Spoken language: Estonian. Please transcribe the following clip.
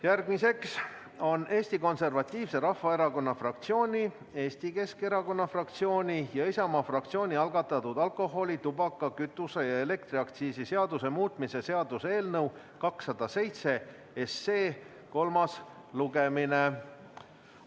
Järgmine on Eesti Konservatiivse Rahvaerakonna fraktsiooni, Eesti Keskerakonna fraktsiooni ja Isamaa fraktsiooni algatatud alkoholi-, tubaka-, kütuse- ja elektriaktsiisi seaduse muutmise seaduse eelnõu 207 kolmas lugemine.